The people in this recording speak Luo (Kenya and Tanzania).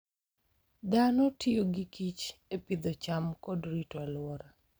Dhano tiyo gi kich e pidho cham kod rito alwora.